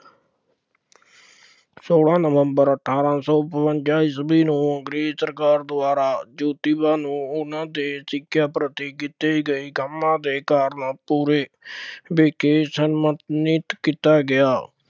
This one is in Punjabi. ਸੋਲਾਂ ਨਵੰਬਰ ਅਠਾਰਾਂ ਸੌ ਬਵੰਜ਼ਾ ਈਸਵੀ ਨੂੰ ਅੰਗਰੇਜ਼ ਸਰਕਾਰ ਦੁਆਰਾ ਜੋਤੀਬਾ ਨੂੰ ਉਹਨਾ ਦੇ ਸਿੱਖਿਆ ਪ੍ਰਤੀ ਕੀਤੇ ਗਏ ਕੰਮਾਂ ਦੇ ਕਾਰਨਾਂ ਪੂਰੇ ਸਨਮਾਨਿਤ ਕੀਤਾ ਗਿਆ